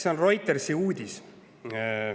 See on Reutersi uudis.